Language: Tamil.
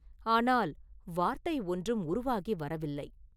ஆனால் வார்த்தை ஒன்றும் உருவாகி வரவில்லை.